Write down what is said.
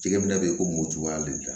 Jɛgɛ minɛ bɛ yen ko mo cogoya de la